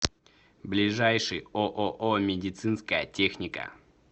ближайший ооо медицинская техника